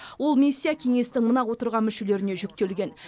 ол миссия кеңестің мына отырған мүшелеріне жүктелген